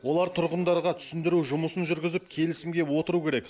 олар тұрғындарға түсіндіру жұмысын жүргізіп келісімге отыру керек